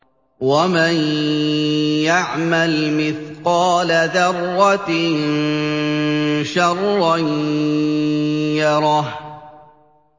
وَمَن يَعْمَلْ مِثْقَالَ ذَرَّةٍ شَرًّا يَرَهُ